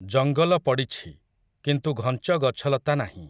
ଜଙ୍ଗଲ ପଡ଼ିଛି, କିନ୍ତୁ ଘଞ୍ଚ ଗଛଲତା ନାହିଁ ।